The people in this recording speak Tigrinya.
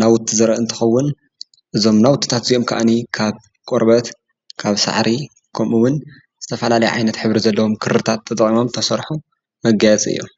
ናዉቲ ዘርኢ እንትከዉን እዞም ናውትታት እዚኦም ከዓ ካብ ቆርበት፣ ካብ ሳዕሪ ከምኡ እዉን ዝተፈላለየ ዓይነት ሕብሪ ዘለዎም ክርታት ተጠቂሞም ዝተሰርሑ መጋየፂ እዩም።